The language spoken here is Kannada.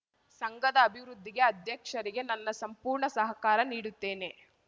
ಸಂಘದ ಅಭಿವೃದ್ದಿಗೆ ಅಧ್ಯಕ್ಷರಿಗೆ ನನ್ನ ಸಂಪೂರ್ಣ ಸಹಕಾರ ನೀಡುತ್ತೇನೆ